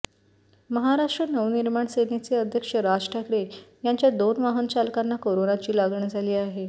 महाराष्ट्र नवनिर्माण सेनेचे अध्यक्ष राज ठाकरे यांच्या दोन वाहनचालकांना कोरोनाची लागण झाली आहे